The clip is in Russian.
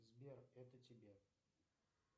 сбер это тебе